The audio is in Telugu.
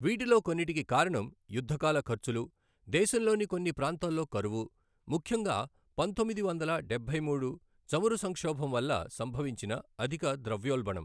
వీటిలో కొన్నిటికి కారణం యుద్ధకాల ఖర్చులు, దేశంలోని కొన్ని ప్రాంతాల్లో కరువు, ముఖ్యంగా పంతొమ్మిది వందల డబ్బై మూడు చమురు సంక్షోభం వల్ల సంభవించిన అధిక ద్రవ్యోల్బణం.